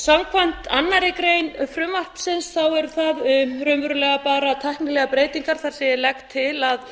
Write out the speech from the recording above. samkvæmt annarri grein frumvarpsins eru það raunverulega bara tæknilegar breytingar þar sem ég legg til að